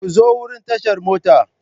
Ku zo wurin tashar mota.